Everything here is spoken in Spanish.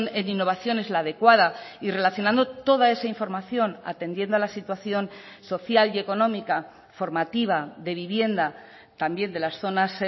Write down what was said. en innovación es la adecuada y relacionando toda esa información atendiendo a la situación social y económica formativa de vivienda también de las zonas